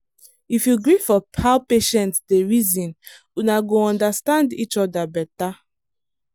if you gree for how patient dey reason una go understand each other better